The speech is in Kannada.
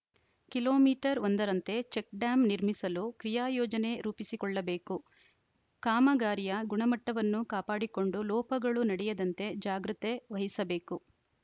ಕಿಲೋ ಮೀಟರ್ ಒಂದರಂತೆ ಚೆಕ್‌ ಡ್ಯಾಂ ನಿರ್ಮಿಸಲು ಕ್ರಿಯಾ ಯೋಜನೆ ರೂಪಿಸಿಕೊಳ್ಳಬೇಕು ಕಾಮಗಾರಿಯ ಗುಣಮಟ್ಟವನ್ನು ಕಾಪಾಡಿಕೊಂಡು ಲೋಪಗಳು ನಡೆಯದಂತೆ ಜಾಗೃತೆ ವಹಿಸಿಬೇಕು